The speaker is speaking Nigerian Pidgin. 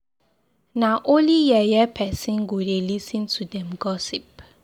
Na only yeye person go dey lis ten to dem gossip.